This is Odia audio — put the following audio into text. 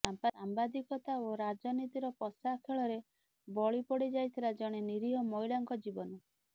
ସାମ୍ବାଦିକତା ଓ ରାଜନୀତିର ପଶା ଖେଳରେ ବଳି ପଡିଯାଇଥିଲା ଜଣେ ନିରୀହ ମହିଳାଙ୍କ ଜୀବନ